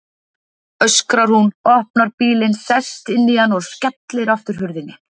öskrar hún, opnar bílinn, sest inn í hann og skellir aftur hurðinni.